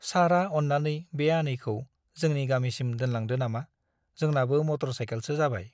सारआ अन्नानै बे आनैखौ जोंनि गामिसिम दोनलांदो नामा ? जोंनाबो मटर साइकेलसो जाबाय ।